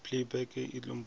be e no ba go